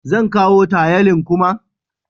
Zan kawo tayalin kuma?